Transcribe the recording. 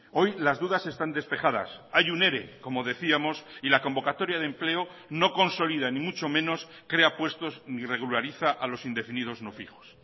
hoy las dudas están despejadas hay un ere como decíamos y la convocatoria de empleo no consolida ni mucho menos crea puestos ni regulariza a los indefinidos no fijos